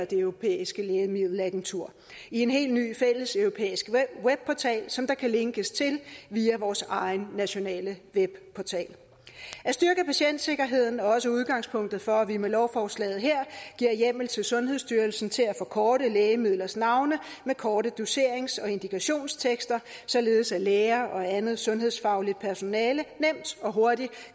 det europæiske lægemiddelagentur i en helt ny fælleseuropæisk webportal som der kan linkes til via vores egen nationale webportal at styrke patientsikkerheden er også udgangspunktet for at vi med lovforslaget her giver hjemmel til sundhedsstyrelsen til at forkorte lægemidlers navne med korte doserings og indikationstekster således at læger og andet sundhedsfagligt personale nemt og hurtigt